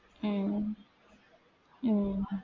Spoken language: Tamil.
உம் உம்